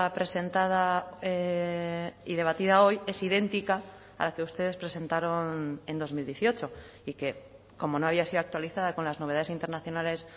presentada y debatida hoy es idéntica a la que ustedes presentaron en dos mil dieciocho y que como no había sido actualizada con las novedades internacionales